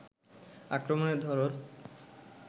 আক্রমণের ধরন